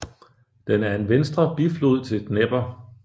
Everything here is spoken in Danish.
Den er en venstre biflod til Dnepr